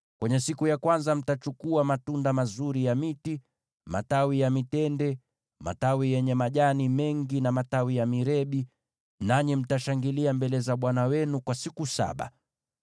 Siku ya kwanza mtachukua matunda mazuri ya miti, matawi ya mitende, matawi yenye majani mengi, na matawi ya mirebi, nanyi mtashangilia mbele za Bwana Mungu wenu kwa siku saba.